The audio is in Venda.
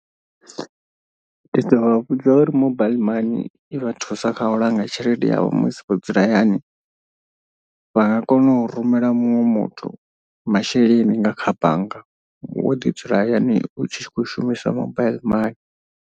Ndi ḓo vha vhudza uri mobaiḽi mani i vha thusa kha u langa tshelede yavho musi vho dzula hayani. Vha nga kona u rumela muṅwe muthu masheleni nga kha bannga wo ḓi dzula hayani u tshi khou shumiswa mobile mani.